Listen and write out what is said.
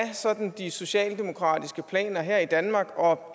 de socialdemokratiske planer her i danmark og